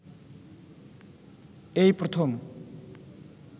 এই প্রথম